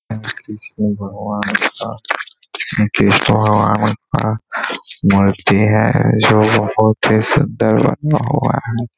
बीच में भगवान का भगवान का मूर्ति है जो बहुत ही सुन्दर बना हुआ है।